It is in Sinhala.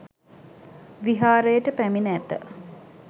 විහාරයට පැමිණ ඇත.